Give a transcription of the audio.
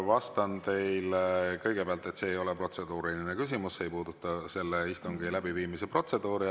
Vastan teile kõigepealt, et see ei ole protseduuriline küsimus, see ei puuduta selle istungi läbiviimise protseduuri.